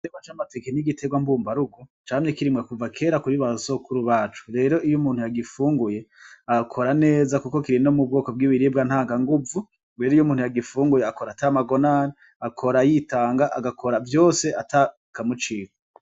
Igiterwa c'amateke n'igiterwa mbumbarugo camye kirimwa kera kuva kuri basokuru bacu rero iyo umuntu yagifunguye akora neza kuko kiri no mu bwoko bwibiribwa ntanga nguvu rero iyo umuntu yagifunguye akora ata magonane akora yitanga agakora vyose atakamucika.